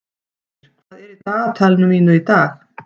Heikir, hvað er í dagatalinu mínu í dag?